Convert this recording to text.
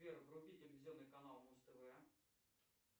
сбер вруби телевизионный канал муз тв